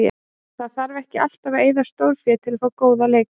Það þarf ekki alltaf að eyða stórfé til að fá góða leikmenn.